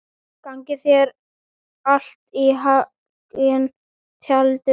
Gangi þér allt í haginn, Tjaldur.